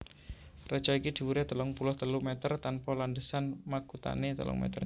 Reca iki dhuwuré telung puluh telu mèter tanpa landhesan makuthané telung mèter